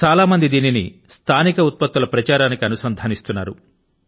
చాలా మంది దీనిని స్థానిక ఉత్పత్తుల ప్రచారానికి అనుసంధానిస్తున్నారు